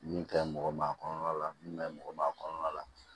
Min ka ɲi mɔgɔ ma kɔnɔ la min kaɲi mɔgɔ ma kɔnɔna la